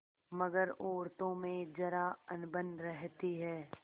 मगर औरतों में जरा अनबन रहती है